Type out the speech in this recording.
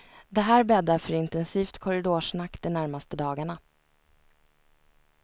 Det här bäddar för intensivt korridorsnack de närmaste dagarna.